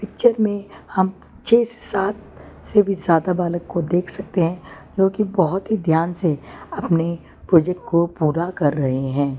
चित्र मे हम छे से सात से भी ज्यादा बालक को देख सकते है जोकि बहोत ही ध्यान से अपने प्रोजेक्ट को पूरा कर रहे है।